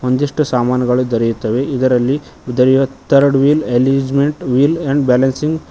ಒಂದಿಷ್ಟು ಸಾಮಾನುಗಳು ದೊರೆಯುತ್ತವೆ ಇದರಲ್ಲಿ third wheel alignment wheel and balancing --